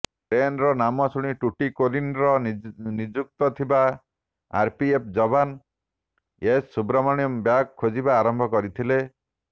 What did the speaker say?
ଟ୍ରେନ୍ର ନାମ ଜାଣି ଟୁଟିକୋରିନ୍ରେ ନିଯୁକ୍ତ ଥିବା ଆର୍ପିଏଫ୍ ଯବାନ ଏସ୍ ଶୁବ୍ରମଣ୍ୟମ୍ ବ୍ୟାଗ୍ ଖୋଜିବା ଆରମ୍ଭ କରିଥିଲେ